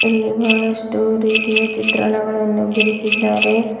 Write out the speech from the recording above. ಇಲ್ಲಿ ಬಹಳಷ್ಟು ರೀತಿಯ ಚಿತ್ರಣಗಳನ್ನು ಬಿಡಿಸಿದ್ದಾರೆ.